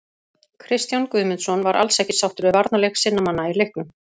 Kristján Guðmundsson var alls ekki sáttur við varnarleik sinna manna í leiknum.